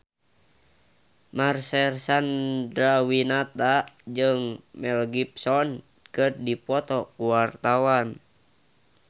Marcel Chandrawinata jeung Mel Gibson keur dipoto ku wartawan